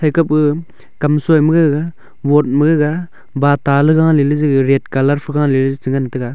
thai kap gaga kamsoi gaga wot ma gaga bata ley ga leley za red kalar pha galey ley che ngan taga.